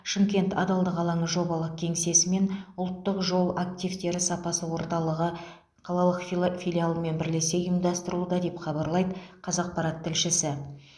шымкент адалдық алаңы жобалық кеңсесі мен ұлттық жол активтері сапасы орталығы қалалық фила филиалымен бірлесе ұйымдастырылуда деп хабарлайды қазақпарат тілшісі